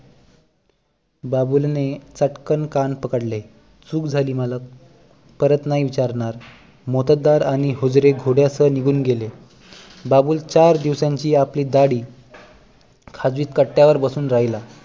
बाबूलने चटकन कान पकडले चूक झाली मालक परत नाही विचारणार मोत्तद्दार आणि हुजरे घोड्यासह निघून गेले बाबूल चार दिवसांची आपली दाढी खाजवीत कट्ट्यावर बसून राहिला